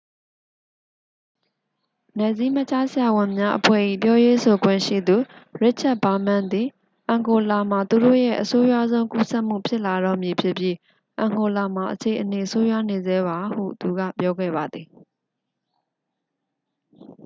"နယ်စည်းမခြားဆရာဝန်များအဖွဲ့၏ ပြောရေးဆိုခွင့်ရှိသူ ရစ်ချက်ဗားမန်းသည် "အန်ဂိုလာမှာ သူတို့ရဲ့ အဆိုးရွားဆုံး ကူးစက်မှု ဖြစ်လာတော့မည်ဖြစ်ပြီး အန်ဂိုလာမှာ အခြေအနေ ဆိုးရွားနေဆဲပါ" ဟု သူက ပြောခဲ့ပါသည်။